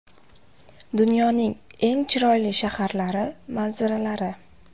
Dunyoning eng chiroyli shaharlari manzaralari.